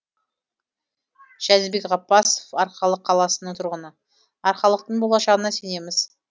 жәнібек ғаппасов арқалық қаласының тұрғыны арқалықтың болашағына сенеміз